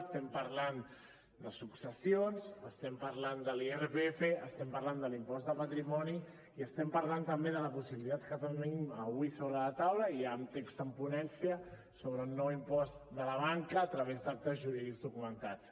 estem parlant de successions estem parlant de l’irpf estem parlant de l’impost de patrimoni i estem parlant també de la possibilitat que tenim avui sobre la taula ja amb text en ponència sobre el nou impost de la banca a través d’actes jurídics documentats